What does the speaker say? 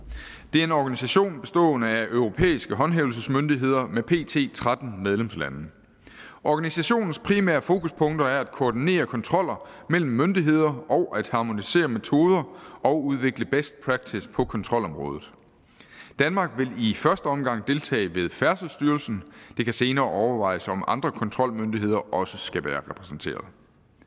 det er en organisation bestående af europæiske håndhævelsesmyndigheder med pt tretten medlemslande organisationens primære fokuspunkter er at koordinere kontroller mellem myndigheder og at harmonisere metoder og udvikle best practice på kontrolområdet danmark vil i første omgang deltage med færdselsstyrelsen det kan senere overvejes om andre kontrolmyndigheder også skal være repræsenteret